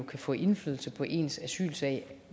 kan få indflydelse på ens asylsag